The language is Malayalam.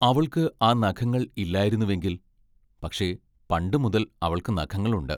അവൾക്ക് ആ നഖങ്ങൾ ഇല്ലായിരുന്നുവെങ്കിൽ പക്ഷേ, പണ്ടു മുതൽ അവൾക്ക് നഖങ്ങളുണ്ട്.